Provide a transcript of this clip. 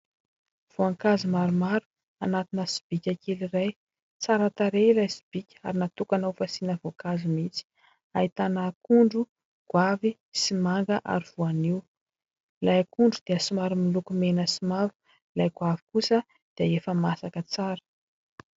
Voankazo maromaro anatina sobika kely iray, tsara tarehy ilay sobika ary natokana ho fasiana voankazo mihitsy ahitana akondro, goavy sy manga ary voaniho, ilay akondro dia somary miloko mena sy mavo, ilay goavy kosa dia efa masaka tsara.